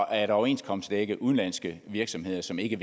at overenskomstdække udenlandske virksomheder som ikke